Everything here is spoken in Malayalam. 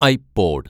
I pod